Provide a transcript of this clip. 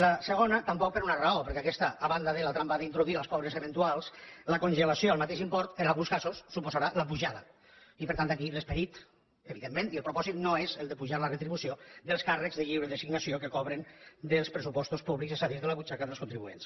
la segona tampoc per una raó perquè en aquesta a banda de la trampa d’introduir els pobres eventuals la congelació al mateix import en alguns casos en suposarà l’apujada i per tant aquí l’esperit evidentment i el propòsit no són els d’apujar la retribució dels càrrecs de lliure designació que cobren dels pressupostos públics és a dir de la butxaca dels contribuents